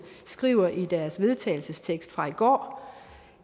skriver i deres vedtagelsestekst fra i går